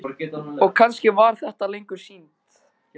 Og kannski var það ekki lengur synd.